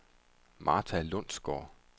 Martha Lundgaard